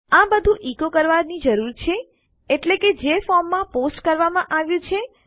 આ બધું ઇકો કરવાની જરૂર છે એટલે કે જે ફોર્મમાં પોસ્ટ કરવામાં આવ્યું છે